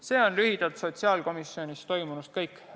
See on sotsiaalkomisjonis toimunust lühidalt kõik.